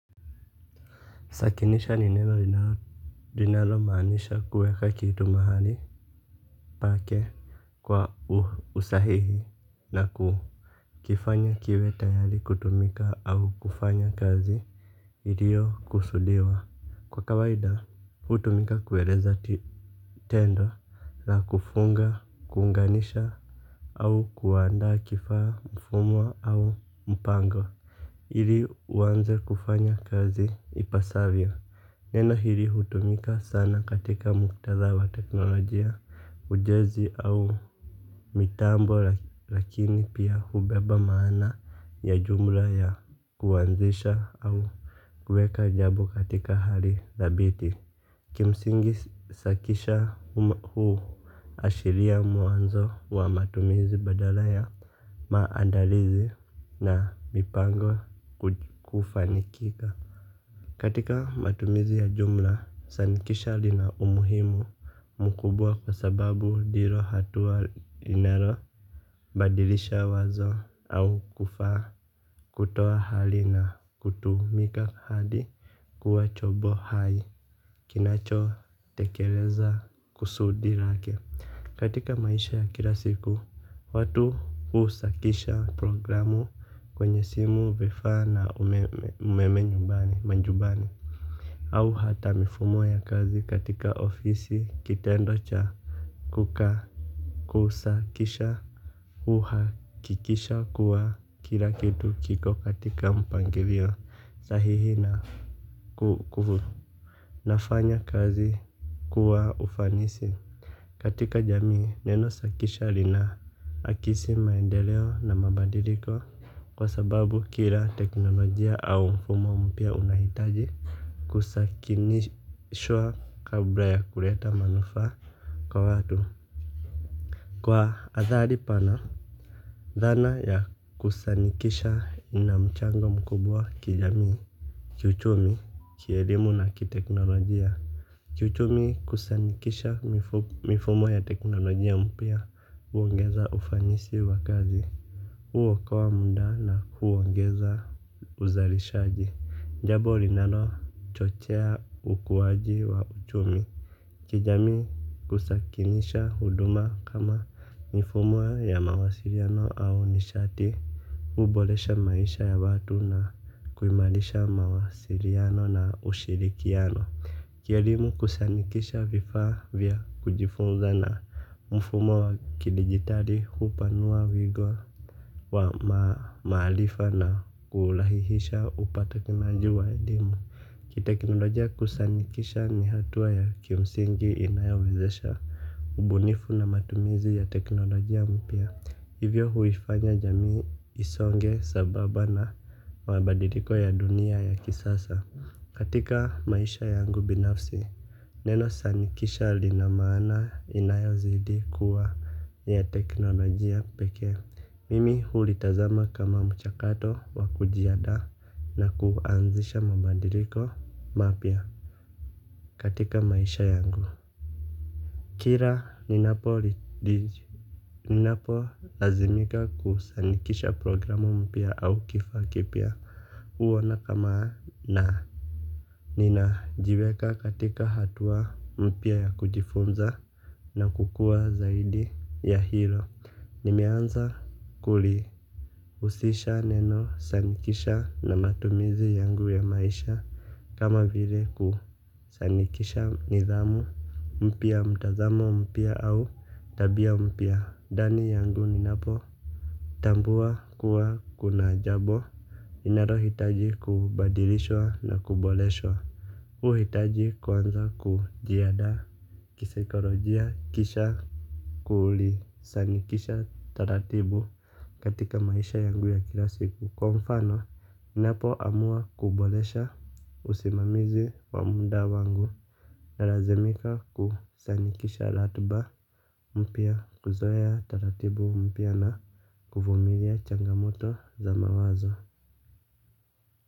Sakinisha ni neno linalo maanisha kuweka kitu mahali pake kwa usahihi na ku kifanya kiwe tayari kutumika au kufanya kazi. Hiliyo kusudiwa kwa kawaida hutumika kueleza tendo la kufunga kunganisha au kuandaa kifaa mfumo au mpango ili uanze kufanya kazi ipasavyo. Neno hili hutumika sana katika muktadha wa teknolojia ujezi au mitambo lakini pia hubeba maana ya jumla ya kuanzisha au kueka jambo katika hali dhabiti. Ki msingi sakisha huashiria mwanzo wa matumizi badala ya maandalizi na mipango kufanikika. Katika matumizi ya jumla, sanikisha lina umuhimu mkubwa kwa sababu ndilo hatua linalo badilisha wazo au kufaaa kutoa hali na kutumika hadi kuwa chombo hai, kinacho tekeleza kusudi lake. Katika maisha ya kilasiku, watu husakisha programu kwenye simu vifaa na umeme umeme nyumbani majumbani au hata mifumo ya kazi katika ofisi kitendo cha kuka kusakisha. Uhakikisha kuwa kila kitu kiko katika mpangilio sahihi na kukufu nafanya kazi kuwa ufanisi. Katika jamii neno sakisha lina akisi maendeleo na mabadiliko. Kwa sababu kila teknolojia au mfumo mpya unahitaji kusakinishwa kabla ya kuleta manufaa kwa watu. Kwa athari pana dhana ya kusanikisha ina mchango mkubwa kijamii kiuchumi kielimu na kiteknolojia. Kiuchumi kusanikisha mifumo ya teknolojia mpya huongeza ufanisi wa kazi huokoa muda na kuongeza uzalishaji. Jambo linalochochea ukuwaji wa uchumi. Kijamii kusakinisha huduma kama mfumo ya mawasiliano au nishati. Huboresha maisha ya watu na kuimarisha mawasiliano na ushirikiano. Kielimu kusanikisha vifaa vya kujifunza na mfumo wa kiligitali hupanua wigo. Wa maarifa na kulahihisha upatakinaji wa elimu. Kiteknolojia kusanikisha ni hatua ya kimsingi inayowezesha ubunifu na matumizi ya teknolojia mpya. Hivyo huifanya jamii isonge sambamba na mabadiliko ya dunia ya kisasa. Katika maisha yangu binafsi. Neno sanikisha lina maana inayozidi kuwa ni ya teknolojia pekee. Mimi hulitazama kama mchakato wa kujianda na kuanzisha mabadiliko mapya katika maisha yangu. Kila ninapo ninapo lazimika kusanikisha programu mpya au kifaa kipya huona kama naa nina jiweka katika hatua mpya ya kujifunza na kukua zaidi ya hilo. Nimeanza kuli husisha neno sanikisha na matumizi yangu ya maisha. Kama vile kusanikisha nidhamu, mpya mtazamo mpya au tabia mpya ndani yangu ni napo tambua kuwa kuna jambo iinalo hitaji kubadilishwa na kuboreswa uhitaji kwanza kujiandaa kisaikolojia kisha kuli sanikisha taratibu. Katika maisha yangu ya kila siku kwa mfano, ninapo amua kuboresha usimamizi wa muda wangu. Nalazimika kusanikisha ratiba mpya kuzoea taratibu mpya na kuvumilia changamoto za mawazo.